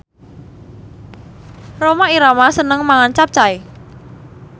Rhoma Irama seneng mangan capcay